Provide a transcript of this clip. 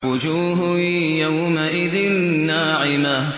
وُجُوهٌ يَوْمَئِذٍ نَّاعِمَةٌ